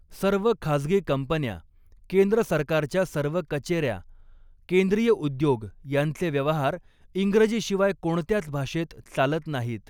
सर्व खाजगी कंपन्या, केंद्र सरकारच्या सर्व कचेऱ्या, केंद्रीय उद्योग यांचे व्यवहार इंग्रजीशिवाय कोणत्याच भाषेत चालत नाहीत.